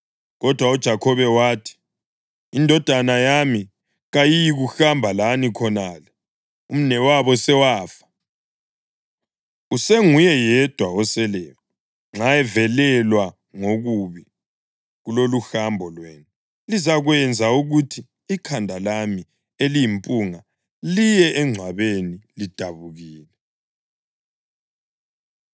Kodwa uJakhobe wathi, “Indodana yami kayiyikuhamba lani khonale; umnewabo sewafa, usenguye yedwa oseleyo. Nxa evelelwa ngokubi kuloluhambo lwenu lizakwenza ukuthi ikhanda lami eliyimpunga liye engcwabeni lidabukile.”